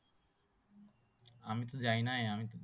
আমি তো যাই নাই